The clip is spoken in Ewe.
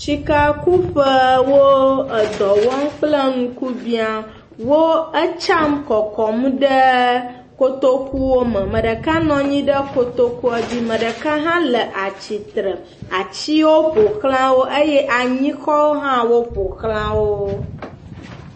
Sikakuƒe wo edɔ wɔm kple ŋkubia. Wo etsam kɔkɔm ɖe kotokuwo me. Ame ɖeka nɔ anyi ɖe kotokua dzi ame ɖeka hã le atsitre. Atsiwo ƒoxla wo eye anyikɔwo hã ƒoxla wo.